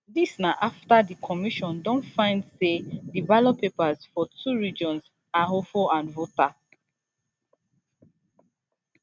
dis na afta di commission don find say di ballot papers for two regions ahafo and volta